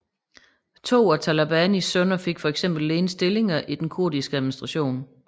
To af Talabanis sønner fik for eksempel ledende stillinger i den kurdiske administration